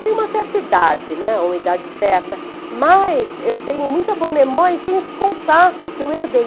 Tenho uma certa idade, né, uma idade certa, mas eu tenho muita boa memória e tenho esse contato que eu herdei.